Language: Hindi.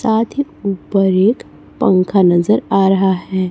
साथ ही ऊपर एक पंखा नजर आ रहा है।